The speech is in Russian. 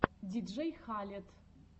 диджей халед